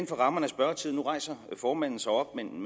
for rammerne af spørgetiden nu rejser formanden sig op men